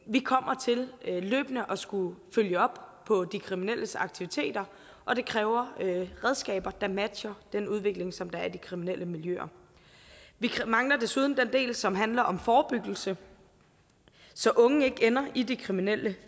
vi kommer til løbende at skulle følge op på de kriminelles aktiviteter og det kræver redskaber der matcher den udvikling som der er i de kriminelle miljøer vi mangler desuden den del som handler om forebyggelse så unge ikke ender i de kriminelle